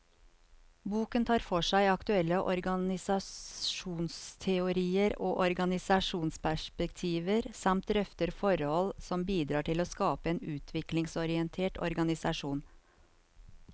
Boken tar for seg aktuelle organisasjonsteorier og organisasjonsperspektiver, samt drøfter forhold som bidrar til å skape en utviklingsorientert organisasjon.